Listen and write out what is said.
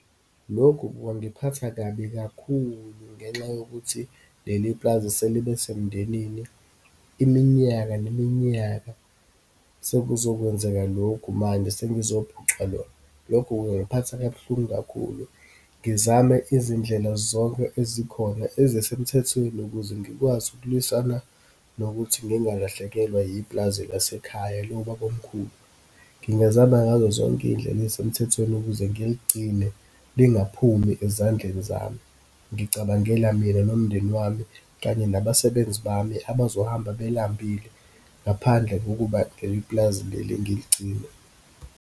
Lokhu kwangiphatha kabi kakhulu ngenxa yokuthi, leli pulazi selibe semndenini iminyaka neminyaka, sekuzokwenzeka lokhu manje, sebezophucwa lona. Lokho kungangiphatha kabuhlungu kakhulu, ngizame izindlela zonke ezikhona ezisemthethweni ukuze ngikwazi ukulwisana nokuthi ngingalahlekelwa yipulazi lasekhaya, lobaba omkhulu. Ngingazama ngazo zonke iyindlela ezisemthethweni ukuze ngiligcine lingaphumi ezandleni zami. Ngicabangela mina nomndeni wami, kanye nabasebenzi bami, abazohamba belambile ngaphandle kokuba leli pulazi leli ngiligcine.